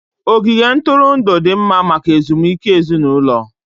Ogige ntụrụndụ dị mma maka ezumike ezinụlọ